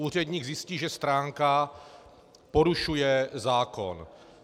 Úředník zjistí, že stránka porušuje zákon.